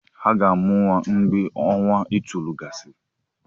Aga-amụ nwa mgve ọnwa itoolu gasịrị.